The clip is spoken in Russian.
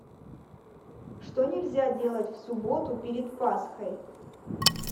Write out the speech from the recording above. что нельзя делать в субботу перед пасхой